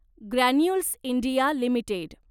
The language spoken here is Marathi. granules India limited